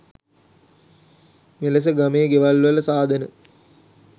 මෙලෙස ගමේ ගෙවල්වල සාදන